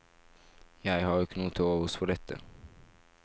Jeg har ikke noe til overs for dette.